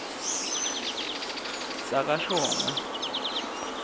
sakashongwe